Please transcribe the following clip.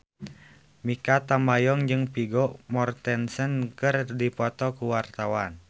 Mikha Tambayong jeung Vigo Mortensen keur dipoto ku wartawan